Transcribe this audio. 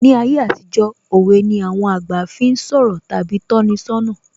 Ní ayé àtijó, òwe ni àwọn àgbà fi ń sọ̀rọ̀ tàbí tọ́ni ṣọ́nà